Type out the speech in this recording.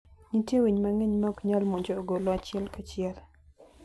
Nitie winy mang'eny maok nyal monjo ogolo achiel kachiel.